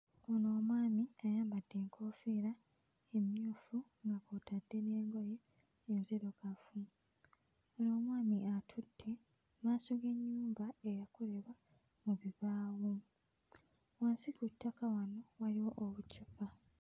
Ono omwami ayambadde enkoofiira emmyufu nga kw'otadde n'engoye enzirugavu. Ono omwami atudde mmaaso g'ennyumba eyakolebwa mu bibaawo. Wansi ku ttaka wano waliwo obucupa.